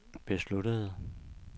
besluttede